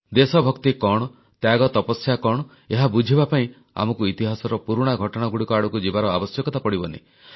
ଦେଶଭକ୍ତି କଣ ତ୍ୟାଗତପସ୍ୟା କଣ ଏହା ବୁଝିବା ପାଇଁ ଆମକୁ ଇତିହାସର ପୁରୁଣା ଘଟଣାଗୁଡ଼ିକ ଆଡ଼କୁ ଯିବାର ଆବଶ୍ୟକତା ପଡ଼ିବନି